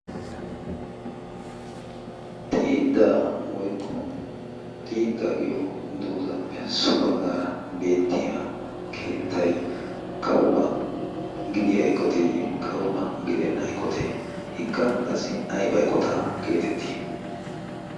xiiddaa woyqqo xiidda giyo doozaappe so baggaara beettiya keettai kauba gidiya eqoteeyye kauba gidenna eqotee hikka qassi ayba eqota geetettii?